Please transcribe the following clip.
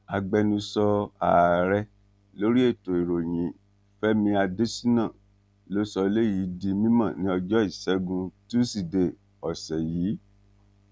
agbẹnusọ ààrẹ lórí ètò ìròyìn fẹmi adésínà ló sọ eléyìí di mímọ ní ọjọ ìṣẹgun túṣídéé ọsẹ yìí